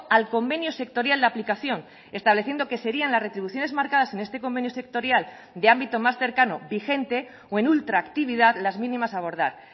al convenio sectorial de aplicación estableciendo que serían las retribuciones marcadas en este convenio sectorial de ámbito más cercano vigente o en ultraactividad las mínimas a abordar